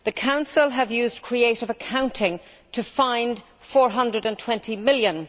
The Council have used creative accounting to find EUR 420 million.